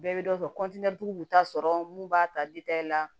Bɛɛ bɛ dɔ dɔn tigi bɛ taa sɔrɔ mun b'a ta la